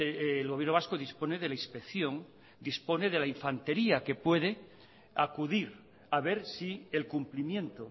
el gobierno vasco dispone de la inspección a ver si el cumplimiento